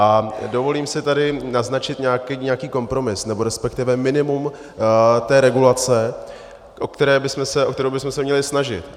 A dovolím si tady naznačit nějaký kompromis, nebo respektive minimum té regulace, o kterou bychom se měli snažit.